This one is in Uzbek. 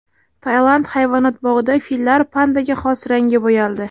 Tailand hayvonot bog‘ida fillar pandaga xos rangga bo‘yaldi .